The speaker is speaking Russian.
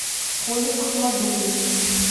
коле ахмадуллине